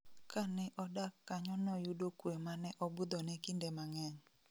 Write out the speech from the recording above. Ka ne odak kanyo noyudo kwe mane obudhone kinde mang'eny